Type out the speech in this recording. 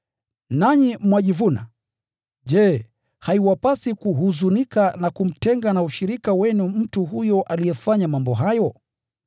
Nanyi mwajivuna! Je, haiwapasi kuhuzunika na kumtenga na ushirika wenu mtu huyo aliyefanya mambo hayo?